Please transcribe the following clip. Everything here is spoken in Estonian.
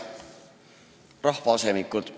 Head rahvaasemikud!